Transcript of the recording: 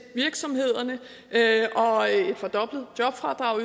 virksomhederne og et fordoblet jobfradrag